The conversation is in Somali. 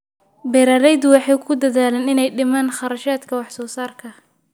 Beeraleydu waxay ku dadaalaan inay dhimaan kharashaadka wax soo saarka.